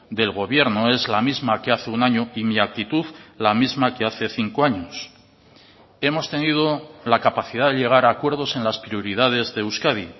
del gobierno es la misma que hace un año y mi actitud la misma que hace cinco años hemos tenido la capacidad de llegar a acuerdos en las prioridades de euskadi